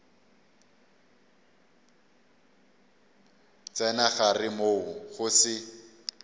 tsena gare moo go se